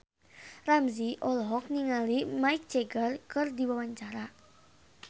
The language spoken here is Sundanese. Ramzy olohok ningali Mick Jagger keur diwawancara